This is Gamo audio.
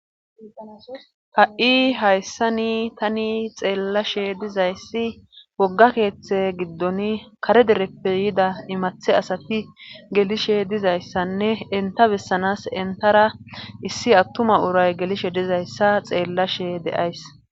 ha7i hayssani tani xeellashe dizayssi wogga keeththe giddon kare dereppe yida imathe asati gelishe dizayssanne enta bessanas entara issi attuma uray gelishe dizayssa xeellashe de7ays